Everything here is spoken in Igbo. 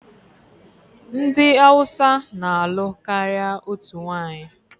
Ndị Hausa na-alụ karịa otu nwanyị.